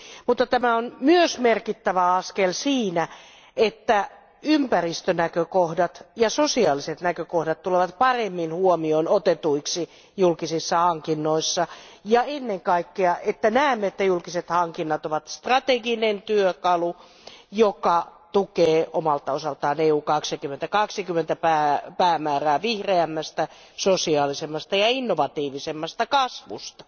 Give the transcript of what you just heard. Mutta tämä on myös merkittävä askel siinä, että ympäristönäkökohdat ja sosiaaliset näkökohdat tulevat paremmin huomioon otetuiksi julkisissa hankinnoissa ja ennen kaikkea että näemme, että julkiset hankinnat ovat strateginen työkalu, joka tukee omalta osaltaan Eurooppa 2020 päämäärää vihreämmästä, sosiaalisemmasta ja innovatiivisemmasta kasvusta.